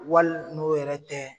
Wali n'o yɛrɛ tɛ